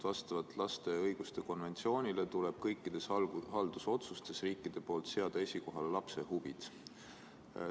Vastavalt lapse õiguste konventsioonile tuleb riikidel kõikides haldusotsustes seada esikohale lapse huvid.